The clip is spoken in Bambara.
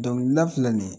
Dɔnkilida filɛ nin ye